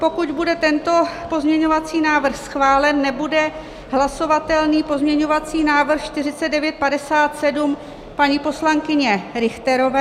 Pokud bude tento pozměňovací návrh schválen, nebude hlasovatelný pozměňovací návrh 4957 paní poslankyně Richterové.